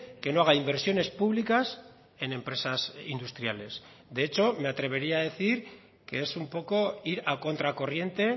que no haga inversiones públicas en empresas industriales de hecho me atrevería a decir que es un poco ir a contracorriente